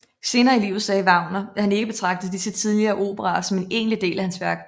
Senere i livet sagde Wagner at han ikke betragtede disse tidlige operaer som en egentlig del af hans værk